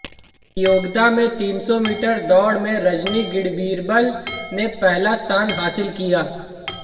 प्रतियोगिता में तीन सौ मीटर दौड़ में रजनी गढ़ीबीरबल ने पहला स्थान हासिल किया